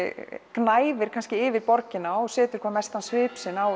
gnæfir yfir borgina og setur hvað mestan svip á